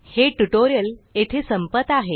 हे ट्यूटोरियल येथे संपत आहे